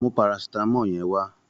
Mú paracetamol yẹn wá.